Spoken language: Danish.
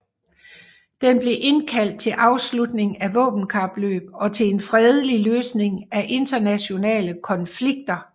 Den blev indkaldt til afslutning af våbenkapløb og til en fredelig løsning af internationale konflikter